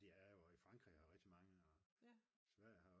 det er jo og i Frankrig er der rigtig mange og i Sverige